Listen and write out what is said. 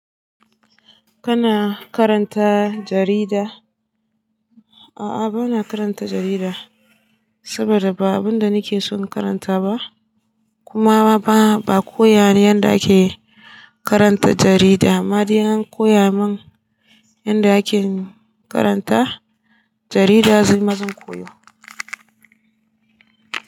Kana karanta jarida? A'a, bana karanta jarida, saboda ba abun da nike son karanta ba, kuma ba b, a koya min yadda ake karanta jarida. Amma dai in an koya min yadda ake karanta jarida, nima zan koyo.